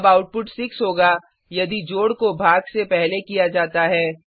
अब आउटपुट 6 होगा यदि जोड को भाग से पहले किया जाता है